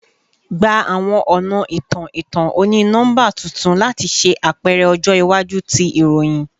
Gba awọn ọna itan-itan oni-nọmba tuntun lati ṣe apẹrẹ ọjọ iwaju ti iroyin